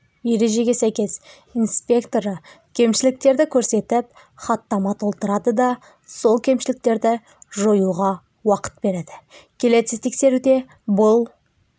ережеге сәйкес инспекторы кемішіліктерді көрсетіп хаттама толтырады да сол кемшіліктерді жоюға уақыт береді келесі тексеруде бұл